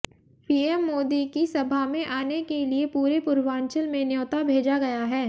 PM Modi की सभा में आने के लिए पूरे पूर्वांचल में न्योता भेजा गया है